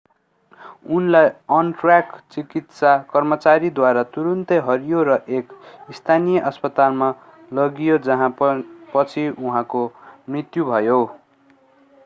उनलाई अन-ट्र्याक चिकित्सा कर्मचारीद्वारा तुरून्तै हेरियो र एक स्थानीय अस्पतालमा लगियो जहाँ पछि उनको मृत्यु भयो